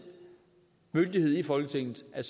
myndighed i folketinget at